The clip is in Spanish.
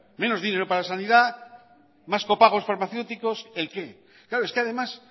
menos dinero para la sanidad más copagos farmacéuticos el qué claro es que además